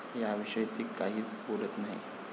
याविषयी ती काहीच बोलत नाही.